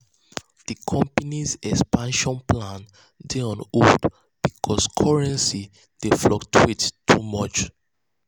di company's expansion plans dey on hold because currency dey fluctuate too much.